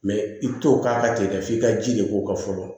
Mɛ i bɛ t'o k'a tigi la f'i ka ji de k'o kan fɔlɔ